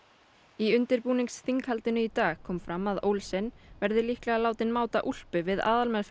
í í dag kom fram að Olsen verði líklega látinn máta úlpu við